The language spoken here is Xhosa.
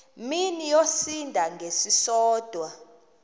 mini yosinda ngesisodwa